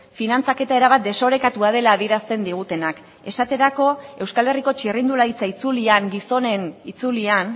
finantzaketa erabat desorekatua dela adierazten digutenak esaterako euskal herriko txirrindularitza itzulian gizonen itzulian